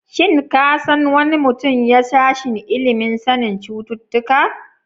Shin ka san wani mutum ya sashen ilimin sanin cututtuka?